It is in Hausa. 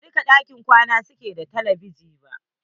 Ba dukkan ɗakunan kwana su ke da telebijin ba.